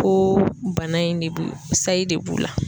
Ko bana in de bi, sayi de b'u la.